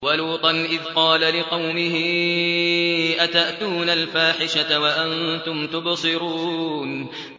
وَلُوطًا إِذْ قَالَ لِقَوْمِهِ أَتَأْتُونَ الْفَاحِشَةَ وَأَنتُمْ تُبْصِرُونَ